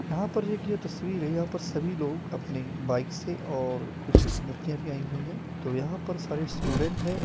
यहां पर जो एक यह तस्वीर है यहां पर सभी लोग अपनी बाइक से और कुछ लड़कियां भी आई हुई है तो यहां पर सारे स्टूडेंट है।